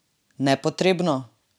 Nepotrebno?